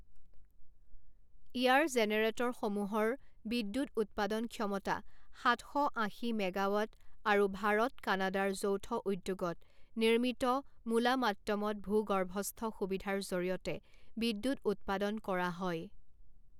ইয়াৰ জেনেৰেটৰসমূহৰ বিদ্যুৎ উৎপাদন ক্ষমতা সাত শ আশী মেগাৱাট আৰু ভাৰত কানাডাৰ যৌথ উদ্যোগত নিৰ্মিত মোলামাট্টমত ভূগৰ্ভস্থ সুবিধাৰ জৰিয়তে বিদ্যুৎ উৎপাদন কৰা হয়।